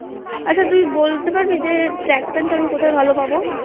আচ্ছা তুই বলতে পারবি যে Trackpant আমি কোথায় ভালো পাবো?